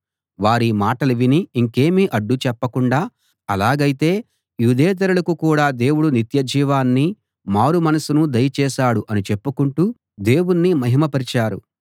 వారీ మాటలు విని ఇంకేమీ అడ్డు చెప్పకుండా అలాగయితే యూదేతరులకు కూడా దేవుడు నిత్యజీవాన్ని మారుమనసును దయచేశాడు అని చెప్పుకొంటూ దేవుణ్ణి మహిమ పరిచారు